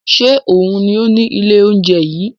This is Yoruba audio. Ṣe oun ni o ni ile ounjẹ yii?